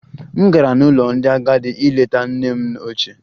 M gara n'ụlọ ndị agadi ileta nne m ochie